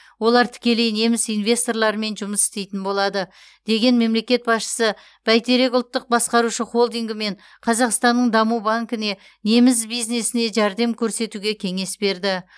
олар тікелей неміс инвесторларымен жұмыс істейтін болады деген мемлекет басшысы бәйтерек ұлттық басқарушы холдингі мен қазақстанның даму банкіне неміс бизнесіне жәрдем көрсетуге кеңес берді